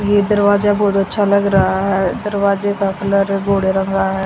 ये दरवाजा बहोत अच्छा लग रहा है दरवाजे का कलर रंगा है।